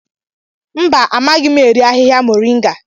Mba, amaghị eri ahịhịa muringa.